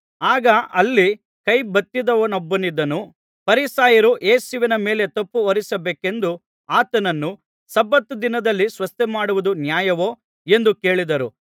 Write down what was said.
ಆಗ ಅಲ್ಲಿ ಕೈಬತ್ತಿದವನೊಬ್ಬನಿದ್ದನು ಫರಿಸಾಯರು ಯೇಸುವಿನ ಮೇಲೆ ತಪ್ಪು ಹೊರಿಸಬೇಕೆಂದು ಆತನನ್ನು ಸಬ್ಬತ್ ದಿನದಲ್ಲಿ ಸ್ವಸ್ಥಮಾಡುವುದು ನ್ಯಾಯವೋ ಎಂದು ಕೇಳಿದರು